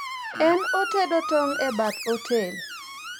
en otedo tong' e bath otel